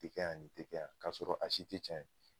Nin tɛ kɛ yan, nin tɛ kɛ yan, k'a sɔrɔ a si te cɛn ye